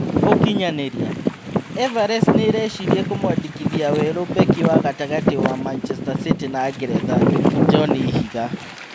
(ũkinyanĩria) Everest nĩĩreciria kũmwandĩkithia werũ mbeki wa gatagatĩ wa Macheta City na Ngeretha Njoni Ihiga.